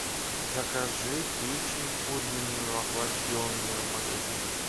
закажи печень куриную охлажденную в магазине